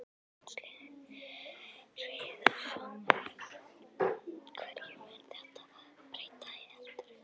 Magnús Hlynur Hreiðarsson: Hverju mun þetta breyta heldurðu?